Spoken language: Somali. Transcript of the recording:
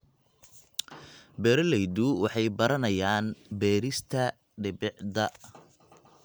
Beeraleydu waxay baranayaan beerista dhibicda.